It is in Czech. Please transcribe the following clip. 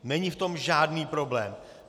Není v tom žádný problém.